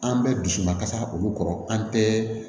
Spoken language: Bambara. An bɛɛ dusu ma kasa olu kɔrɔ an bɛɛ